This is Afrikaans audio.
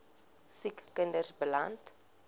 siek kinders beland